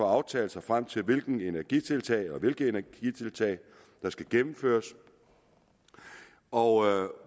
aftale sig frem til hvilke energitiltag hvilke energitiltag der skal gennemføres og